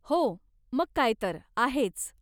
हो, मग काय तर, आहेच.